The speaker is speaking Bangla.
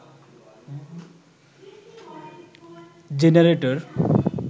জেনারেটর